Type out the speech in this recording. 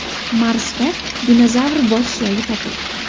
Marsda dinozavr bosh suyagi topildi.